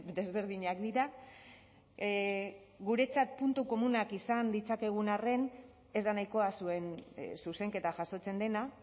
desberdinak dira guretzat puntu komunak izan ditzakegun arren ez da nahikoa zuen zuzenketa jasotzen dena